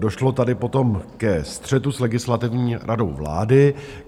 Došlo tady potom ke střetu s Legislativní radou vlády.